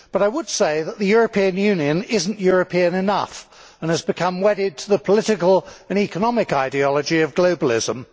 But I would say that the European Union is not European enough, and has become wedded to the political and economic ideology of globalism.